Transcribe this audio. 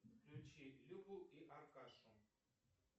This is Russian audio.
включи любу и аркашу